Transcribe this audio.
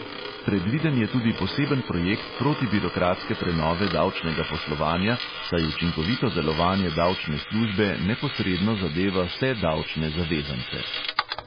Predviden je tudi poseben projekt protibirokratske prenove davčnega poslovanja, saj učinkovito delovanje davčne službe neposredno zadeva vse davčne zavezance.